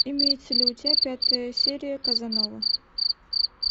имеется ли у тебя пятая серия казанова